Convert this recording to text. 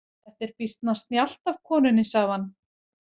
Þetta er býsna snjallt af konunni, sagði hann.